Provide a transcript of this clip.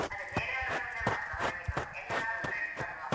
ಅದೆ ಬೇರೆಯವ್ರು ಬಂದ್ರೆ ಮಾತ್ರ ಹೊರಗಿನವ್ರು ಎಲ್ಲ ನಾವೆ friends ಅಲ್ವ.